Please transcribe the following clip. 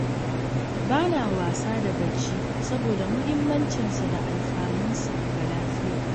Ba na wasa da bacci, saboda muhimmancinsa da alfanunsa ga lafiya.